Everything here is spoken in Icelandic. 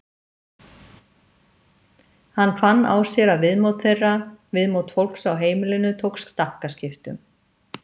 Hann fann á sér að viðmót þeirra, viðmót fólks á heimilinu tók stakkaskiptum.